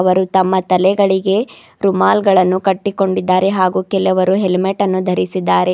ಅವರು ತಮ್ಮ ತಲೆಗಳಿಗೆ ರೂಮಾಲ್ಗಳನ್ನು ಕಟ್ಟಿಕೊಂಡಿದ್ದಾರೆ ಹಾಗು ಕೆಲವರು ಹೆಲ್ಮೆಟನ್ನು ಧರಿಸಿದ್ದಾರೆ.